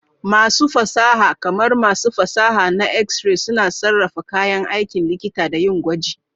Masu fasaha, kamar masu fasaha na X-ray, suna sarrafa kayan aikin likita da yin gwaji.